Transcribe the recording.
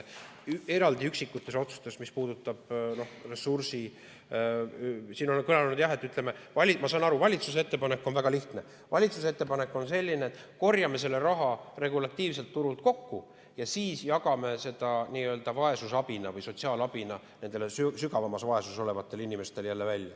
Ma saan aru, et valitsuse ettepanek on väga lihtne: valitsuse ettepanek on selline, et korjame selle raha regulatiivselt turult kokku ja siis jagame selle nii-öelda vaesusabina või sotsiaalabina nendele sügavamas vaesuses olevatele inimestele jälle laiali.